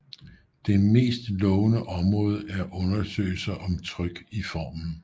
Det mest lovende område er undersøgelser om tryk i formen